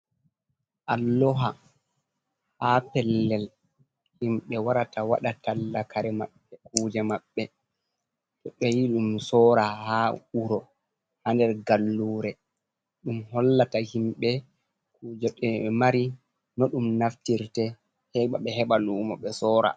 Allowa ha pellel himɓe warata waɗa tall kare maɓɓe kuje maɓɓe to ɓe yi ɗum sora ha wuro ha nder gallure ɗum hollata himɓe kuje ɗe ɓe mari, no ɗum naftirte, heɓa ɓe heɓa lumo ɓe sora.